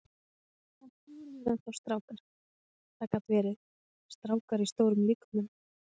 Kannski voru þeir enn þá strákar, það gat verið, strákar í stórum líkömum.